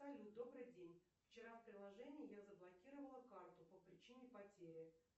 салют добрый день вчера в приложении я заблокировала карту по причине потери